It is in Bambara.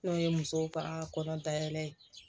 N'o ye musow ka kɔnɔ dayɛlɛ